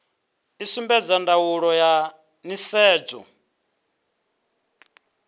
i sumbedza ndaulo ya nisedzo